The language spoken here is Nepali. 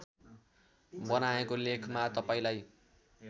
बनाएको लेखमा तपाईँलाई